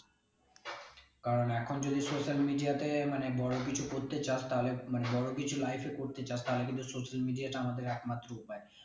কারণ এখন যদি social media তে মানে বড়ো কিছু চাস তালে মানে বড়ো কিছু life করতে চাস তালে কিন্তু social media টা আমাদের একমাত্র উপায়